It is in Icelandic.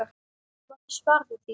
Hún átti svar við því.